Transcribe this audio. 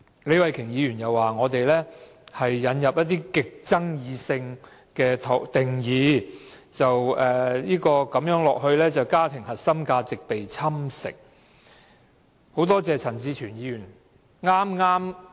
李慧琼議員又指，我們引入了極具爭議的定義，長此下去，家庭核心價值便會被侵蝕。